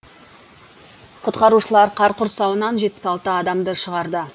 құтқарушылар қар құрсауынан жетпіс алты адамды шығарды